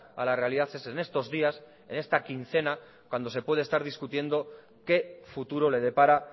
a la realidad es en estos días en esta quincena cuando se puede estar discutiendo qué futuro le depara